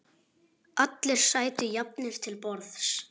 Allir sætu jafnir til borðs.